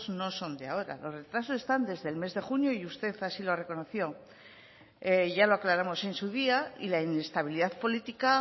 no son de ahora los retrasos están desde el mes de junio y usted así lo reconoció ya lo aclaramos en su día y la inestabilidad política